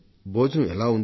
భోజనం ఎలా ఉంది